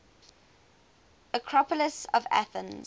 acropolis of athens